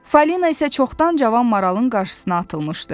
Falina isə çoxdan cavan maralın qarşısına atılmışdı.